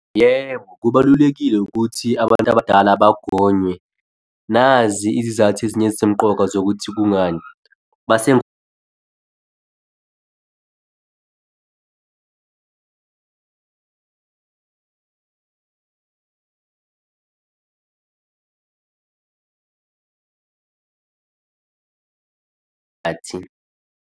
Yebo, kubalulekile ukuthi abantu abadala bagonywe. Nazi izizathu ezinye ezisemqoka zokuthi kungani mase .